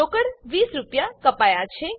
રોકડ ૨૦ રૂપિયા કપાયા છે